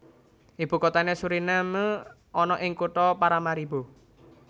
Ibu kotane Suriname ana ing kutha Paramaribo